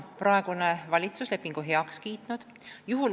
Praegune valitsus on lepingu heaks kiitnud.